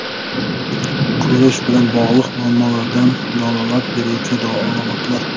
Ko‘rish bilan bog‘liq muammolardan dalolat beruvchi alomatlar.